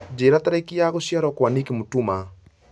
njĩra tarĩki ya gũciarwo Kwa nick mutuma